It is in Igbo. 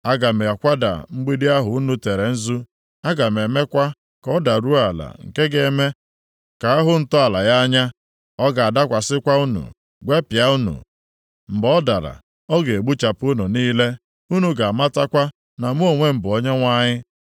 Aga m akwada mgbidi ahụ unu tere nzu, aga m emekwa ka ọ daruo ala nke ga-eme ka ahụ ntọala ya anya; ọ ga-adakwasịkwa unu, gwepịa unu. Mgbe ọ dara ọ ga-egbuchapụ unu niile; unu ga-amatakwa na mụ onwe m bụ Onyenwe anyị.